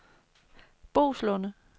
Boeslunde